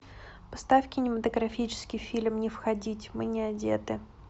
поставь кинематографический фильм не входить мы не одеты